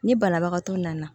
Ni banabagatɔ nana